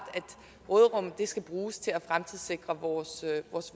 skal bruges til at fremtidssikre vores